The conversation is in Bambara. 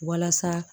Walasa